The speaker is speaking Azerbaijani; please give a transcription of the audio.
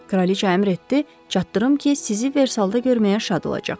Kraliçə əmr etdi, çatdırım ki, sizi Versalda görməyə şad olacaq.